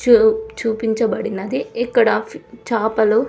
చూ చూపించబడినది ఇక్కడ చాపలు--